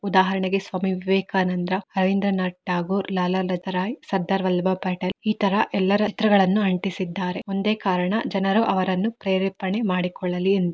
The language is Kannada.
ಉದಾಹರಣೆಗೆ ಸ್ವಾಮಿ ವಿವೇಕಾನಂದ ರಬಿಂದ್ರಾನಾಥ ತಗೋರ್ ಲಾಲಾ ಲತಾ ರೈ ಸರ್ದಾರ್ ವಲ್ಲಬಾಹಿ ಪಟೇಲ್ ಈ ತರಾ ಎಲ್ಲಾರ ಚಿತ್ರಗಳನ್ನು ಅಂಟಿಸಿ ಇದ್ದರೆ ಒಂದೇ ಕಾರಣ ಜನರು ಅವರನ್ನು ಪ್ರೇರೇಪಣೆ. ಮಾಡಿಕೊಳಲ್ಲಿ ಎಂದು.